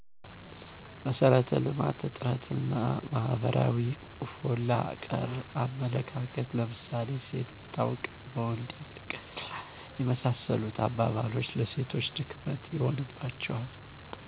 መሰረተ ልማት እጥረት እና ማህበረሰባዊ ሆላ ቀር አመለካከት ለምሳሌ ሴት ብታውቅ በወንድ ያልቅ እና የመሳሰሉት አባባልች ለሴቶች ድክመት ይሆንባቸዋል